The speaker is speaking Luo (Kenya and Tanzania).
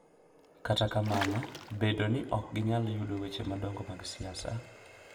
Kata kamano, bedo ni ok ginyal yudo weche madongo mag siasa